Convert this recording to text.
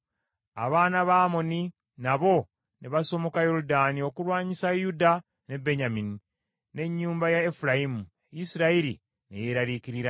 Abaana ba Amoni nabo ne basomoka Yoludaani okulwanyisa Yuda ne Benyamini, n’ennyumba ya Efulayimu. Isirayiri ne yeeraliikirira nnyo.